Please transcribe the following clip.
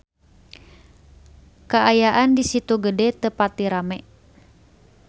Kaayaan di Situ Gede teu pati rame